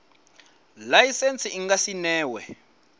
laisentsi i nga si newe